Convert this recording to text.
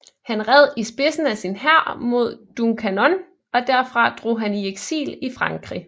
Han red i spidsen af sin hær mod Duncannon og derfra drog han i eksil i Frankrig